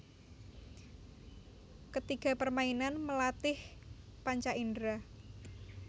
Ke tiga permainan melatih panca indera